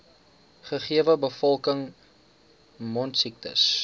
gegewe bevolking mondsiektes